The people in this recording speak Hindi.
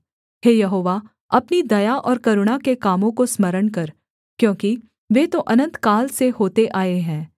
हे यहोवा अपनी दया और करुणा के कामों को स्मरण कर क्योंकि वे तो अनन्तकाल से होते आए हैं